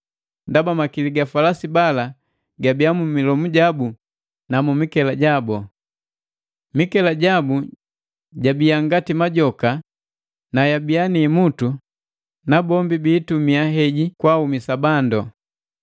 ndaba makili ga falasi bala gabia mu milomu jabu na mu mikela jabu. Mikela jabu jabia ngati majoka na yabia ni imutu, na bombi biitumia heji kwaaumisa bandu.